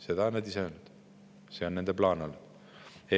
Seda on nad ise öelnud, see on nende plaan olnud.